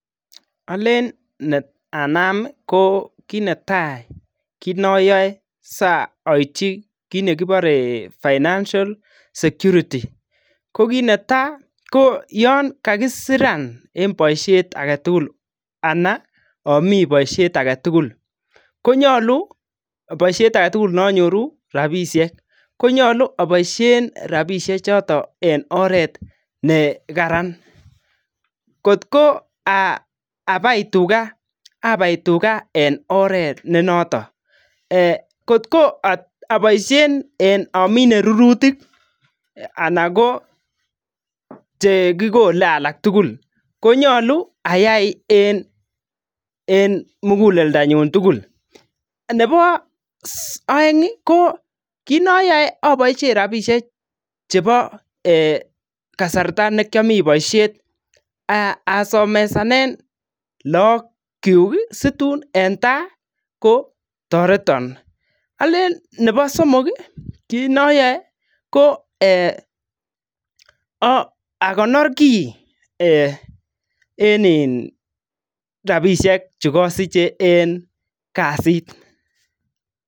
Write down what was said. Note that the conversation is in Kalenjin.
Alen anami ii ko kit netai kit noyoe soityi kit nekibore financial security kot neta ko Yoon kakisiran en boishet agetugul ana omi boishet agetugul konyolu boishet agetugul noonyoru rapishek konyolu aboishen rapishek chito en oret nekaran kotko abari abari tuga abari tuga en oret nenotok ee kotko aboishen amine rurutik ala ko chekikole alak tugul konyolu ayai en muguleldanyun tugul nebo oengi kitnoyoe aboishen rapishek chebo kasarta nekiomiten boishet asomesanen lookyuki situn en taa kotoreton Alen nebo somoki kit noyoe ko ee akonor kii en in rapishek chu kosichen en kasit